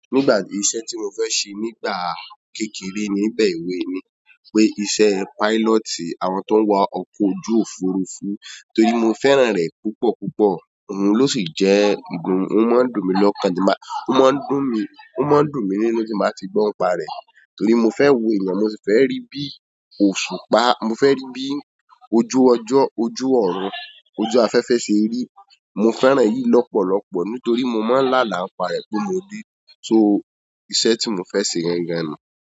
Nígbà tí iṣẹ́ tí mo fẹ́ ṣe nígbà kékeré níbẹ̀ wé ni, pé iṣẹ́ pilot, àwọn tó ń wa ọkọ̀ ojú òfurufú torí mo fẹ́ràn rẹ̀ púpọ̀ púpọ̀, òun ló sì jẹ́ ohun, ó máa ń dùn mí lọ́kàn, tí máa, ó máa ń dùn mí, ó máa ń dùn mí nínú tí màá ti gbọ́ n pa rẹ̀. Torí mo fẹ́ wo ẹ̀yàn, mo sì fẹ́ rí bí òṣùpá, mo fẹ́ rí bí ojú ọjọ́, ojú ọ̀run, ojú afẹ́fẹ́ ṣe rí. Mo fẹ́ràn yìí lọ́pọ̀lọpọ̀ nítorí mo máa ń lá àlá ń pa rẹ̀ bó mo dé. So iṣẹ́ tí mo fẹ́ ṣe rírán ni.